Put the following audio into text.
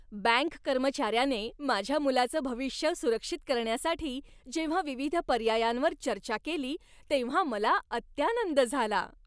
Bank कर्मचाऱ्याने माझ्या मुलाचं भविष्य सुरक्षित करण्यासाठी जेव्हा विविध पर्यायांवर चर्चा केली तेव्हा मला अत्यानंद झाला.